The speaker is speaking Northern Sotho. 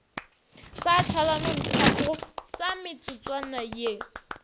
sa tšhalanonthago sa metsotswana ye